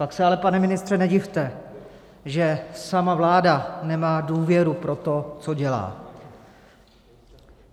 Pak se ale, pane ministře, nedivte, že sama vláda nemá důvěru pro to, co dělá.